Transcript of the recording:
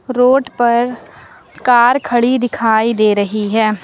Road पर car खड़ी दिखाई दे रही है।